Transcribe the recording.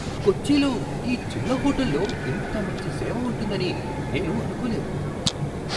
కొచ్చిలో ఈ చిన్న హోటల్లో ఇంత మంచి సేవ ఉంటుందని నేను అనుకోలేదు!